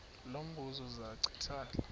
lo mbuzo zachithela